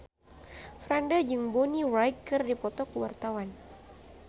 Franda jeung Bonnie Wright keur dipoto ku wartawan